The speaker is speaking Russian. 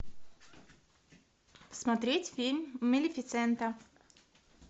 смотреть фильм малефисента